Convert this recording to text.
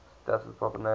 stars with proper names